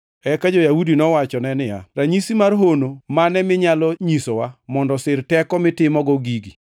Eka jo-Yahudi nowachone niya, “Ranyisi mar hono mane minyalo nyisowa mondo osir teko mitimogo gigi?”